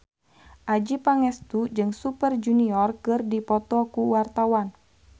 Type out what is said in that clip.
Adjie Pangestu jeung Super Junior keur dipoto ku wartawan